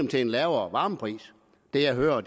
til en lavere varmepris det jeg hører er